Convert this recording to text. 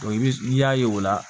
i bɛ n'i y'a ye o la